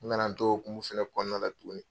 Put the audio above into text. N nana to hukumu fana kɔnɔna la tuguni.